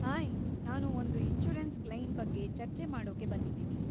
Hi, ನಾನು ಒಂದು insurance claim ಬಗ್ಗೆ ಚರ್ಚೆ ಮಾಡೋಕೆ ಬಂದಿದ್ದೀನಿ.